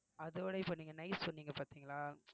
அதோட இப்போ நீங்க nice சொன்னீங்க பார்த்தீங்களா